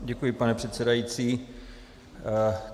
Děkuji, pane předsedající.